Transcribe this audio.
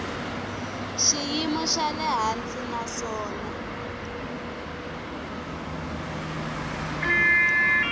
xiyimo xa le hansi naswona